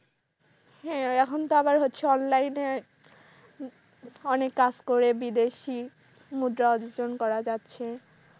হ্যাঁ এখন তো আবার হচ্ছে online এ অনেক কাজ করে বিদেশি মুদ্রা অর্জন করা যাচ্ছে।